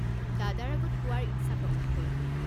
দাদাৰ আগত কোৱাৰ ইচ্ছা প্ৰকাশ কৰিলোঁ।